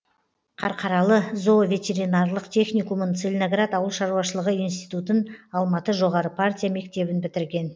қарқаралы зооветеринарлык техникумын целиноград ауыл шаруашылығы институтын алматы жоғары партия мектебін бітірген